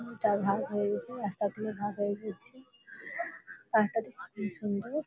দুই টা ভাগ হয়ে গেছে। রাস্তা গুলো ভাগ হয়ে গিয়েছে। রাস্তা টি খুবই সুন্দর --